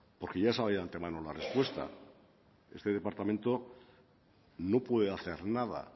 porque ya sabía de antemano la respuesta este departamento no puede hacer nada